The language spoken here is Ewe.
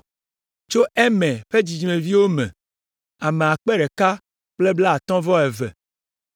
Tso Imer ƒe dzidzimeviwo me, ame akpe ɖeka kple blaatɔ̃ vɔ eve (1,052).